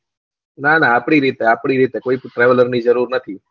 ના ના આપડી રીતે આપડી રીતે કોય tools traveler ની જરૂર નથી